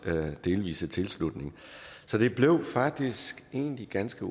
delvise tilslutning så det blev faktisk egentlig ganske